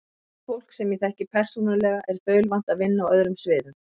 Og það fólk, sem ég þekki persónulega, er þaulvant að vinna á öðrum sviðum.